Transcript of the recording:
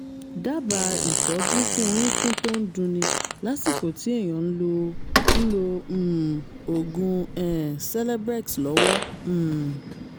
dábàá ìtọ́jú fún orúnkún tó ń dunni lásìkò tí èèyàn ń lo ń lo um oògùn um celebrex lọ́wọ́ um